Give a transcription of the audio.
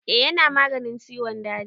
Eh ya na maganin ciwon daji.